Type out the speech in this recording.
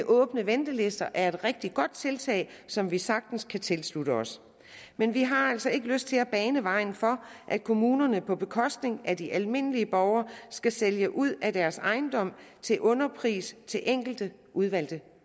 åbne ventelister ud er et rigtig godt tiltag som vi sagtens kan tilslutte os men vi har altså ikke lyst til at bane vejen for at kommunerne på bekostning af de almindelige borgere skal sælge ud af deres ejendom til underpris til enkelte udvalgte